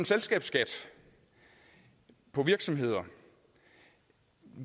selskabsskat på virksomheder